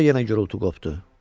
Sonra yenə gurultu qopdu.